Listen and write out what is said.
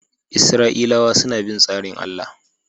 Isra’ilawa suna bin tsarin Allah